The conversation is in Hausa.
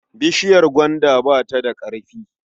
Bishiyar gwaanda bata da ƙarfi.